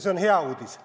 See on hea uudis.